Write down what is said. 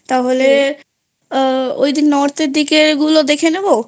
তাহলে ওই যে Northএর দিকে ওগুলো দেখে নেব